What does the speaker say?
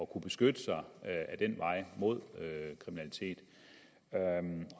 kunne beskytte sig ad den vej mod kriminalitet